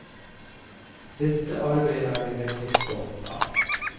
Det arbeidet er vi veldig stolte av.